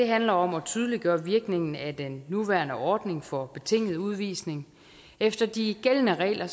handler om at tydeliggøre virkningen af den nuværende ordning for betinget udvisning efter de gældende regler